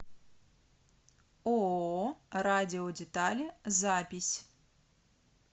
ооо радиодетали запись